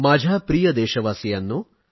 माझ्या प्रिय देशवासियांनो